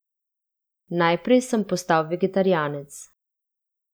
Najprej sem postal vegetarijanec.